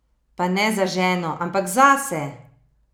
Pa ne za ženo, ampak zase!